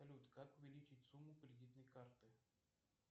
салют как увеличить сумму кредитной карты